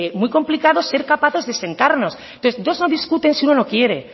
muy complicado ser capaces de sentarnos entonces dos no discuten si uno no quiere